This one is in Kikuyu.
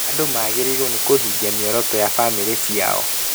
Andũ magĩrĩirwo nĩ kũhingia mĩoroto ya bamĩrĩ ciao